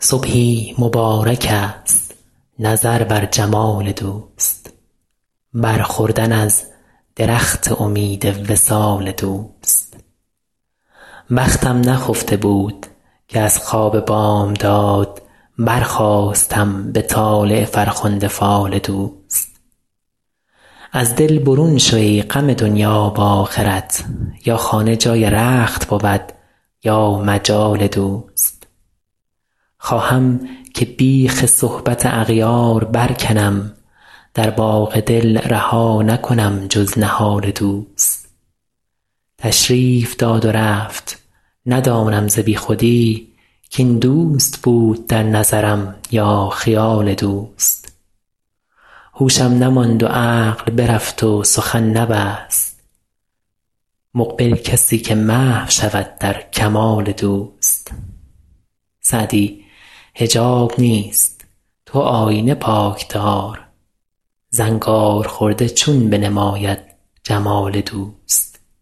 صبحی مبارکست نظر بر جمال دوست بر خوردن از درخت امید وصال دوست بختم نخفته بود که از خواب بامداد برخاستم به طالع فرخنده فال دوست از دل برون شو ای غم دنیا و آخرت یا خانه جای رخت بود یا مجال دوست خواهم که بیخ صحبت اغیار برکنم در باغ دل رها نکنم جز نهال دوست تشریف داد و رفت ندانم ز بیخودی کاین دوست بود در نظرم یا خیال دوست هوشم نماند و عقل برفت و سخن نبست مقبل کسی که محو شود در کمال دوست سعدی حجاب نیست تو آیینه پاک دار زنگارخورده چون بنماید جمال دوست